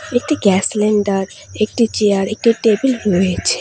একটি gas cylinder একটি chair একটি টেবিল রয়েছে।